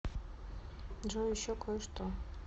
джой еще кое что